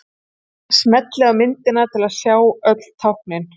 Smellið á myndina til að sjá öll táknin.